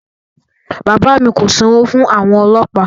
Bàbá mi kò sanwó fún àwọn ọlọ́pàá